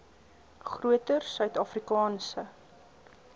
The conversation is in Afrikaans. groter suid afrikaanse